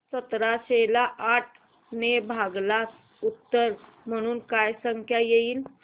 सतराशे ला आठ ने भागल्यास उत्तर म्हणून काय संख्या येईल